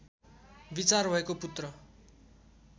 विचार भएको पुत्र